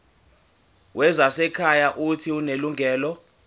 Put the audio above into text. wezasekhaya uuthi unelungelo